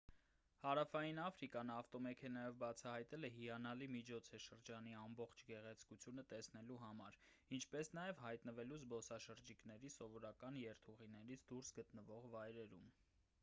հարավային աֆրիկան ավտոմեքենայով բացահայտելը հիանալի միջոց է շրջանի ամբողջ գեղեցկությունը տեսնելու համար ինչպես նաև հայտնվելու զբոսաշրջիկների սովորական երթուղիներից դուրս գտնվող վայրերում